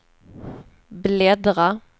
bläddra